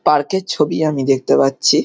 park - এর ছবি আমি দেখতে পাচ্ছি--